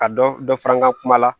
Ka dɔ dɔ fara an ka kuma la